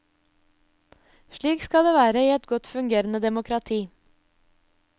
Slik skal det være i et godt fungerende demokrati.